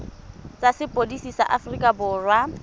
tsa sepodisi sa aforika borwa